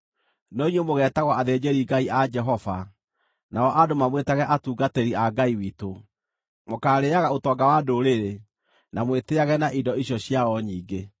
No inyuĩ mũgeetagwo athĩnjĩri-Ngai a Jehova, nao andũ mamwĩtage atungatĩri a Ngai witũ. Mũkaarĩĩaga ũtonga wa ndũrĩrĩ, na mwĩtĩĩage na indo icio ciao nyingĩ.